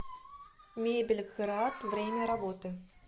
мебель град время работы